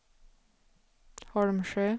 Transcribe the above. Holmsjö